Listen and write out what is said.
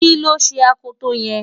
kí ló ṣe akoto yẹn?